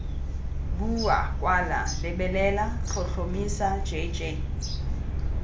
bua kwala lebelela tlhotlhomisa jj